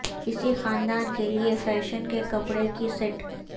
اسی خاندان کے لئے فیشن کے کپڑے کی سیٹ